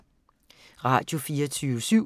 Radio24syv